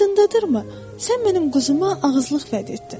Yadındadır mı? Sən mənim quzuma ağızlıq vəd etdin.